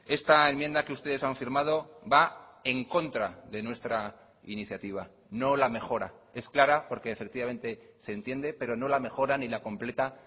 esta enmienda que ustedes han firmado va en contra de nuestra iniciativa no la mejora es clara porque efectivamente se entiende pero no la mejora ni la completa